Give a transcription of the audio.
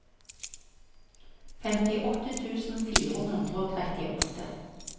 femtiåtte tusen fire hundre og trettiåtte